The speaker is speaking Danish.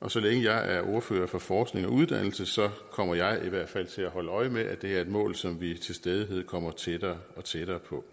og så længe jeg er ordfører for forskning og uddannelse kommer jeg i hvert fald til at holde øje med at det er et mål som vi til stadighed kommer tættere og tættere på